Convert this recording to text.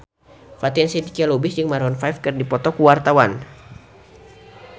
Fatin Shidqia Lubis jeung Maroon 5 keur dipoto ku wartawan